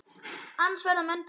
Annars verða menn bara undir.